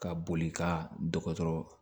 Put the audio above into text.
Ka boli ka dɔgɔtɔrɔ